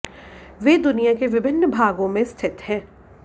वे दुनिया के विभिन्न भागों में स्थित हैं